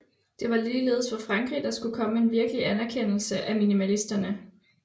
Det var ligeledes fra Frankrig der skulle komme en virkelig anerkendelse af minimalisterne